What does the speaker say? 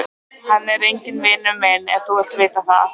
Hann er enginn vinur minn ef þú vilt vita það.